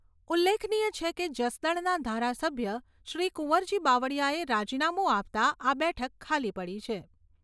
ઉલ્લેખનીય છે કે, જસદણના ધારાસભ્ય શ્રી કુંવરજી બાવળીયાએ રાજીનામુ આપતાં આ બેઠક ખાલી પડી છે.